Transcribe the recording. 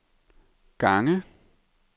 gange